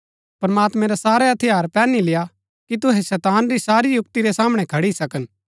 प्रमात्मैं रै सारै हथियार पैहनी लेय्आ कि तुहै शैतान री सारी युक्‍ति रै सामणै खड़ी सकन